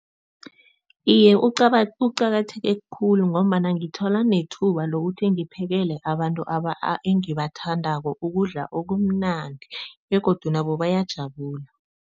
Iye, uqakatheke khulu ngombana ngithola nethuba lokuthi ngiphekele abantu engibathandako ukudla okumnandi begodu nabo bayajabula.